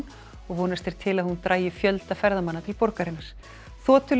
og vonast er til að hún dragi fjölda ferðamanna til borgarinnar